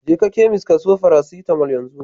Jeka chemist ka siyo farasitamol yanzu!